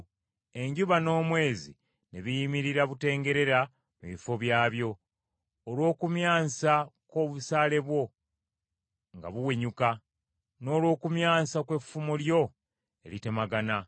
Enjuba n’omwezi ne biyimirira butengerera mu bifo byabyo, olw’okumyansa kw’obusaale bwo nga buwenyuka, n’olw’okumyansa kw’effumu lyo eritemagana.